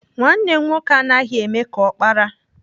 Nwanne m nwoke anaghị eme ka ọkpara.